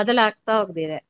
ಬದಲಾಗ್ತ ಹೋಗಿದೆ.